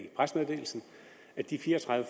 pressemeddelelsen at de fire og tredive